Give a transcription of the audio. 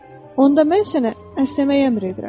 Onda mən sənə əsnəməyə əmr edirəm.